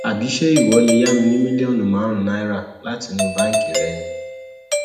àbí ṣé ìwọ lè yá mi ní mílíọnù márùnún náírà láti inú báǹkì rẹ ni